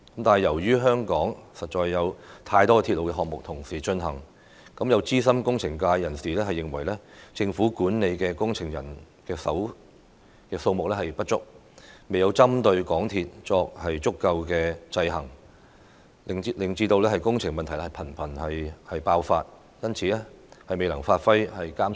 礙於香港同時間進行的鐵路項目實在太多，有資深工程界人士認為，政府管理工程的人手不足，未能針對港鐵公司作足夠制衡，未能發揮監察者的角色，導致工程問題頻頻爆發。